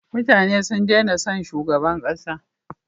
Mutane sun dena son shugaban kasa